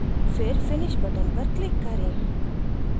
फिर finish button पर click करें